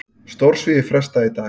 Stórsvigi frestað í dag